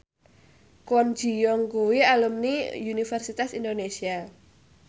Kwon Ji Yong kuwi alumni Universitas Indonesia